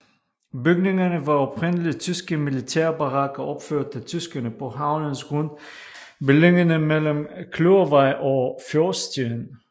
Bygningerne var oprindelig tyske militærbarakker opført af tyskerne på havnens grund beliggende mellem Kløvervej og Fjordstien